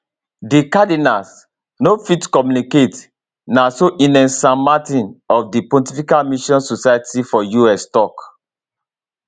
di cardinals no fit communicate na so ines san martin of di pontifical mission societies for us tok